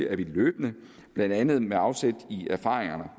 at vi løbende blandt andet med afsæt i erfaringerne